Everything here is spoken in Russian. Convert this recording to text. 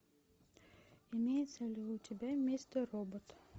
имеется ли у тебя мистер робот